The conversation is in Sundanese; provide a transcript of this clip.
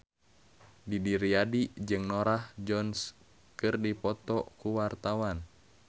Didi Riyadi jeung Norah Jones keur dipoto ku wartawan